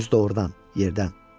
Özü də ordan, yerdən.